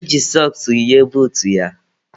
O ji sọks yie buutu ya.